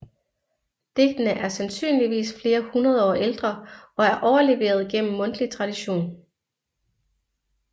Digtene er sandsynligvis flere hundrede år ældre og er overleveret gennem mundtlig tradition